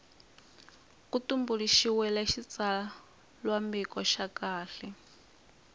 ku tumbuluxiwile xitsalwambiko xa kahle